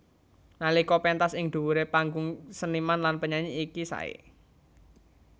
Nalika péntas ing dhuwuré panggung seniman lan penyanyi iki saé